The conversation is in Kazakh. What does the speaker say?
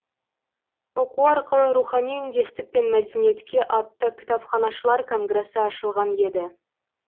оқу арқылы рухани үндестік пен мәдениетке атты кітапханашылар конгресі ашылған еді